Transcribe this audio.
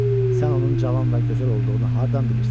"Sən onun cavan və gözəl olduğunu hardan bilirsən?"